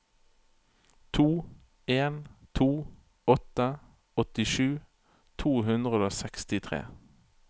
to en to åtte åttisju to hundre og sekstitre